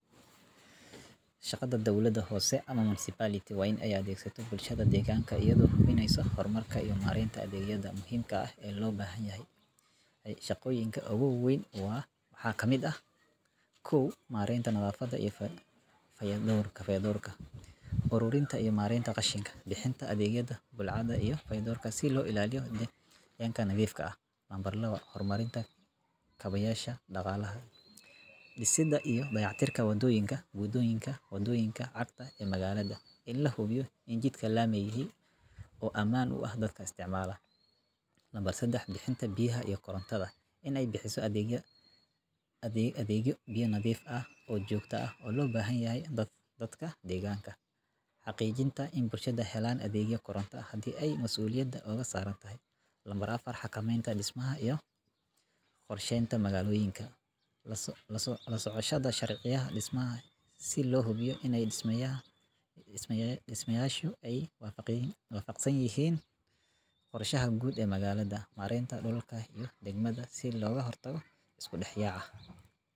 Shaqada dawladaha hoose ama municipality waa in ay maamulaan oo hormariyaan adeegyada kow waxaa kamid ah mareynta fayadhowrka iyo nadafada aasaasiga ah ee bulshada ee ka jira deegaannada ay ka taliyaan. Tusaalooyinka shaqooyinkooda waxaa ka mid ah ururinta qashinka, ilaalinta nadaafadda deegaanka, dhismaha iyo dayactirka wadooyinka, bixinta biyaha nadiifka ah, korjoogteynta suuqyada, iyo hagidda horumarka magaalooyinka sida qorsheynta dhulka iyo dhismaha. Sidoo kale, waxay ka shaqeeyaan adeegyada bulshada sida xarumaha caafimaadka, waxbarashada, iyo fayo-dhawrka. Dawladaha hoose waxay door muhiim ah ku leeyihiin kor u qaadidda nolosha dadka deegaanka, iyaga oo u dhow muwaadiniinta kana jawaaba baahidooda maalinlaha ah si toos ah ,mareynta degmada sii loga hortago isku dhax yaca.